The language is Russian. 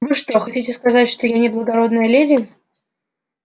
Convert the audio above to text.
вы что хотите сказать что я не благородная леди